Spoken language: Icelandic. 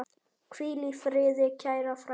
Hvíl í friði, kæra frænka.